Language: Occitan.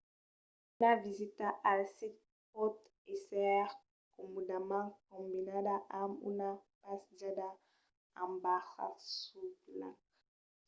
una visita al sit pòt èsser comòdament combinada amb una passejada en barca sul lac